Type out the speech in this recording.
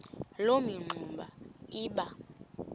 loo mingxuma iba